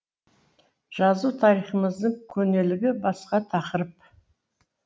жазу тарихымыздың көнелігі басқа тақырып